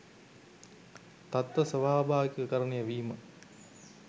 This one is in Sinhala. තත්ත්ව ස්වාභාවිකකරණය වීම